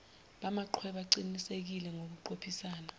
bamachweba qinisekise ngokuqophisana